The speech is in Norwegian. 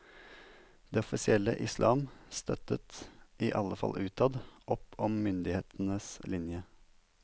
Det offisielle islam støttet, i alle fall utad, opp om myndighetenes linje.